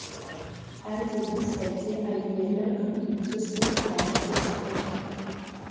әлдебір сәтте әйелі үн түнсіз сұлқ талып түсті